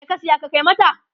me ka saya ka Kai mata?